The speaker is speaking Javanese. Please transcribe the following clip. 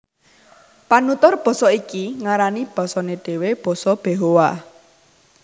Panutur basa iki ngarani basané dhéwé basa Behoa